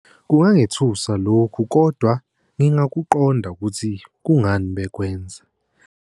Kungangethusi lokhu, kodwa ngingakuqonda ukuthi kungani bekwenza.